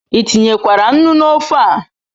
I tinyekwara nnu n'ofe a